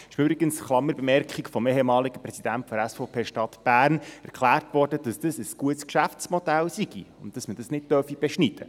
Es wurde übrigens – das ist eine Klammerbemerkung – vom ehemaligen Präsidenten der SVP Stadt Bern erklärt, dies sei ein gutes Geschäftsmodell und man dürfe es nicht beschneiden.